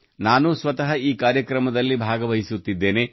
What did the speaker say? ನಾನು ಸ್ವತಃ ಈ ಕಾರ್ಯಕ್ರಮದಲ್ಲಿ ಭಾಗವಹಿಸುತ್ತಿದ್ದೇನೆ